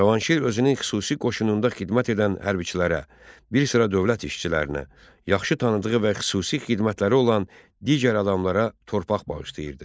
Cavanşir özünün xüsusi qoşununda xidmət edən hərbiçilərə, bir sıra dövlət işçilərinə, yaxşı tanıdığı və xüsusi xidmətləri olan digər adamlara torpaq bağışlayırdı.